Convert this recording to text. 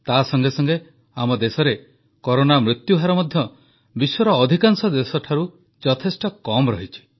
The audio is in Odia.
ତାସଙ୍ଗେ ସଙ୍ଗେ ଆମ ଦେଶରେ କରୋନା ମୃତ୍ୟୁହାର ମଧ୍ୟ ବିଶ୍ୱର ଅଧିକାଂଶ ଦେଶଠାରୁ ଯଥେଷ୍ଟ କମ୍ ରହିଛି